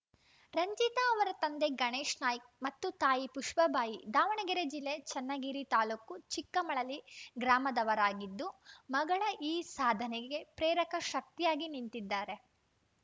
ರಂಜಿತಾ ಅವರ ತಂದೆ ಗಣೇಶ್‌ನಾಯ್ಕ ಮತ್ತು ತಾಯಿ ಪುಷ್ಪಬಾಯಿ ದಾವಣಗೆರೆ ಜಿಲ್ಲೆ ಚನ್ನಗಿರಿ ತಾಲೂಕು ಚಿಕ್ಕಮಳಲಿ ಗ್ರಾಮದವರಾಗಿದ್ದು ಮಗಳ ಈ ಸಾಧನೆಗೆ ಪ್ರೇರಕ ಶಕ್ತಿಯಾಗಿ ನಿಂತಿದ್ದಾರೆ